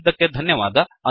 ಕೇಳಿದ್ದಕ್ಕೆ ಧನ್ಯವಾದ